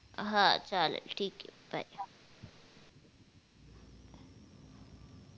हा चालेल ठीक ये बाय